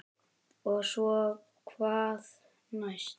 Og svo hvað næst?